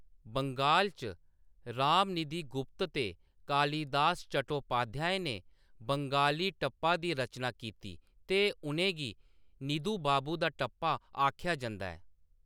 बंगाल च, रामनिधि गुप्त ते कालिदास चट्टोपाध्याय ने बंगाली टप्पा दी रचना कीती ते उʼनेंगी निधु बाबू दा टप्पा आखेआ जंदा ऐ।